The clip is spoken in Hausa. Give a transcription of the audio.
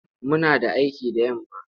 Muna da aiki da yamma.